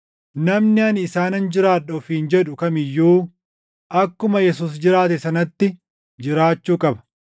namni ani isaanan jiraadha ofiin jedhu kam iyyuu akkuma Yesuus jiraate sanatti jiraachuu qaba.